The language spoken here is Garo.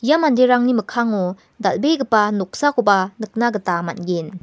ia manderangni mikkango dal·begipa noksakoba nikna gita man·gen.